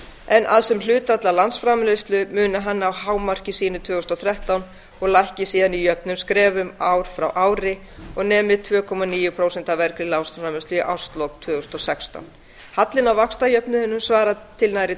en að sem hlutfall af landsframleiðslu muni hann ná hámarki sínu tvö þúsund og þrettán og lækki síðan í jöfnum skrefum ár frá ári og nemi tveimur komma níu prósent af af í árslok tvö þúsund og sextán hallinn á vaxtajöfnuðinum svarar til nærri